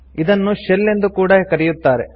ಇದನ್ನು ಶೆಲ್ ಎಂದು ಕೂಡ ಕರೆಯುತ್ತಾರೆ